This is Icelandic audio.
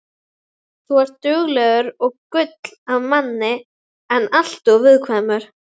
Þú ert duglegur og gull af manni en alltof viðkvæmur.